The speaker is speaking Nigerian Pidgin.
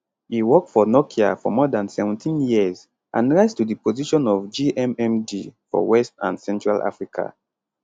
e work for nokia for more dan seventeenyears and rise to di position of gmmd for west and central africa